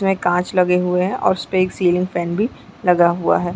काँच लगे हुए है और इसपे एल सीलिंग फैन भी लगा हुआ हैं ।